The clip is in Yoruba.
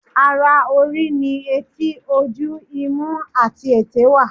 Ara orí ni etí, ojú, imú àti èté wà.